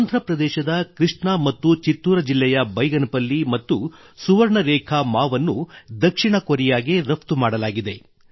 ಆಂಧ್ರಪ್ರದೇಶದ ಕೃಷ್ಣಾ ಮತ್ತು ಚಿತ್ತೂರ ಜಿಲ್ಲೆಯ ಬೈಗನಪಲ್ಲಿ ಮತ್ತು ಸುವರ್ಣ ರೇಖಾ ಮಾವನ್ನು ದಕ್ಷಿಣ ಕೋರಿಯಾಗೆ ರಫ್ತು ಮಾಡಲಾಗಿದೆ